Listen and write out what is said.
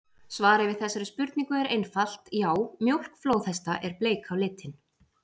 Svarið við þessari spurningu er einfalt: Já, mjólk flóðhesta er bleik á litinn!